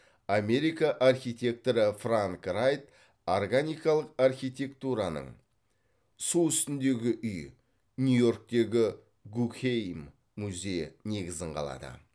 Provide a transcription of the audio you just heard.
америка архитекторы франк райт органикалық архитектураның су үстіндегі үй нью йорктегі гугхейм музейі негізін қалады